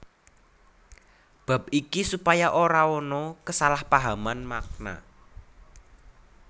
Bab iki supaya ora ana kesalahpahaman makna